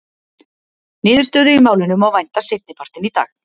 Niðurstöðu í málinu má vænta seinni partinn í dag.